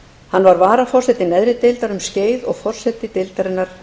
hann var varaforseti neðri deildar um skeið og forseti deildarinnar